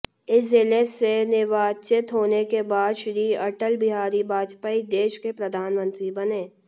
इस जिले से निर्वाचित होने के बाद श्री अटल बिहारी बाजपेयी देश के प्रधानमंत्री बने